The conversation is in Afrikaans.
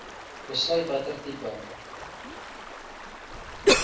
besluit watter tipe